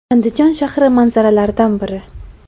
Andijon shahri manzaralaridan biri.